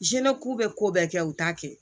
Zinɛku bɛ ko bɛɛ kɛ u t'a kɛ